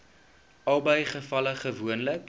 albei gevalle gewoonlik